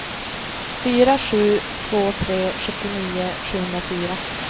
fyra sju två tre sjuttionio sjuhundrafyra